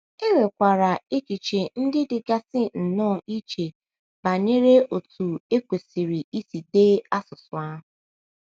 E nwekwara echiche ndị dịgasị nnọọ iche banyere otú e kwesịrị kwesịrị isi dee asụsụ ahụ.